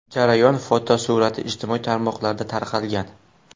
Jarayon fotosurati ijtimoiy tarmoqlarda tarqalgan.